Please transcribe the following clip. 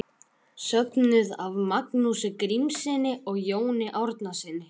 Söfnuð af Magnúsi Grímssyni og Jóni Árnasyni.